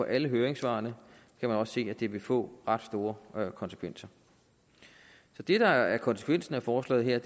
alle høringssvarene kan man også se at det vil få ret store konsekvenser så det der er konsekvensen af forslaget her